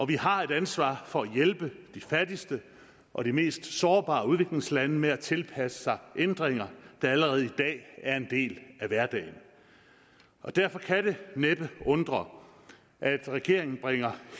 vi har et ansvar for at hjælpe de fattigste og de mest sårbare udviklingslande med at tilpasse sig ændringer der allerede i dag er en del af hverdagen derfor kan det næppe undre at regeringen bringer